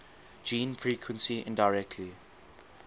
gene frequency indirectly